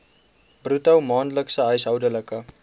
bruto maandelikse huishoudelike